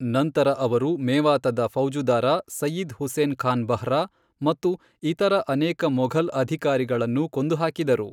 ನಂತರ ಅವರು ಮೇವಾತದ ಫೌಜುದಾರ ಸಯ್ಯಿದ್ ಹುಸೇನ್ ಖಾನ್ ಬರ್ಹಾ ಮತ್ತು ಇತರ ಅನೇಕ ಮೊಘಲ್ ಅಧಿಕಾರಿಗಳನ್ನು ಕೊಂದು ಹಾಕಿದರು.